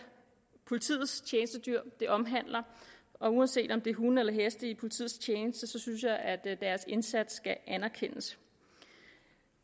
politiets tjenestedyr det omhandler og uanset om det er hunde eller heste i politiets tjeneste synes jeg at deres indsats skal anerkendes